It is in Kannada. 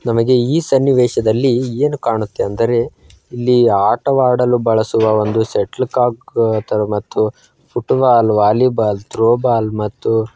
ನಮಗೆ ಈ ಸನ್ನಿವೇಶದಲ್ಲಿ ಏನು ಕಾಣುತ್ತೆ ಅಂದರೆ ಇಲ್ಲಿ ಆಟವಾಡಲು ಬಳಸುವ ಒಂದು ಶಟ್ಲ್ ಕಾಕ್ ತರ ಮತ್ತು ಫುಟ್ಬಾಲ್ ವಾಲಿಬಾಲ್ ಥ್ರೋ ಬಾಲ್ ಮತ್ತು --